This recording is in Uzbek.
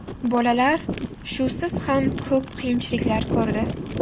Bolalar shusiz ham ko‘p qiyinchiliklar ko‘rdi.